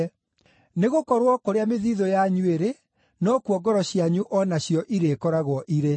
Nĩgũkorwo kũrĩa mĩthiithũ yanyu ĩrĩ, nokuo ngoro cianyu o nacio irĩĩkoragwo irĩ.